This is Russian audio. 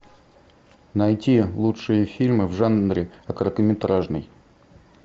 найти лучшие фильмы в жанре короткометражный